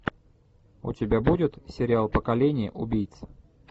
у тебя будет сериал поколение убийц